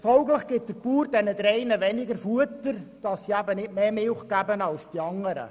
Folglich gibt der Bauer diesen drei Kühen weniger Futter, damit sie nicht mehr Milch geben als die anderen.